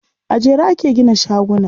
A jere ake gina shaguna.